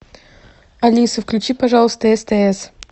алиса включи пожалуйста стс